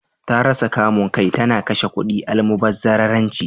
Ta rasa kamun kai, ta na kashe kudi almubazzararanci.